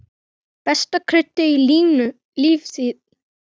Besta kryddið í lífi þínu.